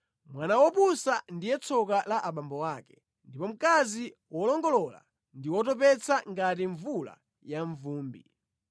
Mwana wopusa ndiye tsoka la abambo ake ndipo mkazi wolongolola ndi wotopetsa ngati mvula yamvumbi.